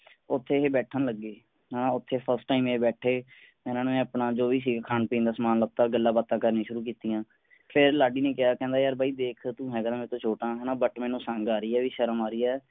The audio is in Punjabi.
ਉੱਥੇ ਇਹ ਬੈਠਣ ਲੱਗੇ ਹੈ ਨਾ ਉੱਥੇ first time ਏਹ ਬੈਠੇ ਇਨ੍ਹਾਂ ਨੇ ਆਪਣਾ ਸੀ ਜੋ ਵੀ ਖਾਣ ਪੀਣ ਦਾ ਸਮਾਂ ਲਿੱਤਾ ਗੱਲਾਂ ਬਾਤਾਂ ਕਰਨੀਆਂ ਸ਼ੁਰੂ ਕੀਤੀਆਂ, ਫੇਰ ਲਾਡੀ ਨੇ ਕਿਹਾ ਕਹਿੰਦਾ ਯਾਰ ਬਾਈ ਦੇਖ ਤੂੰ ਹੈਗਾ ਵਾ ਮੇਰੇ ਤੋਂ ਛੋਟਾ ਹੈ ਨਾ but ਮੈਨੂੰ ਸੰਗ ਆ ਰਹੀ ਹੈ ਵੀ ਸ਼ਰਮ ਆ ਰਹੀ ਹੈ।